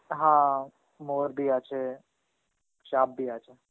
হা, Hindi আছে, সাপ Hindi আছে.